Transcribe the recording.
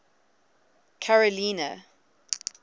carolina